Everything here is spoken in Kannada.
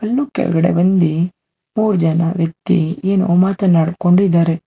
ಇನ್ನು ಕೆಳಗಡೆ ಬಂದಿ ಮೂರ್ ಜನ ವ್ಯಕ್ತಿ ಏನೋ ಮಾತನಾಡ್ಕೊಂಡ್ ಇದಾರೆ.